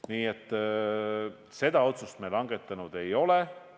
Nii et seda otsust me langetanud ei ole.